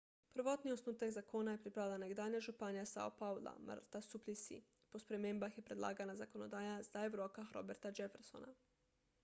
prvotni osnutek zakona je pripravila nekdanja županja sao paula marta suplicy po spremembah je predlagana zakonodaja zdaj v rokah roberta jeffersona